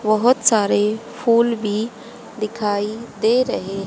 बहोत सारे फूल भी दिखाई दे रहे--